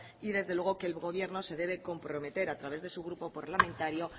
y desde luego que el gobierno se debe comprometer a través de su grupo parlamentario